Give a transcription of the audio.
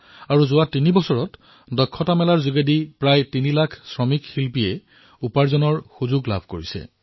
আৰু বিগত তিনিটা বৰ্ষত হুনাৰ হাটৰ জৰিয়তে প্ৰায় তিনি লাখ কাৰিকৰ শিল্পীৰ বাবে কৰ্ম সংস্থাপনৰ অনেক অৱকাশৰ সৃষ্টি হৈছে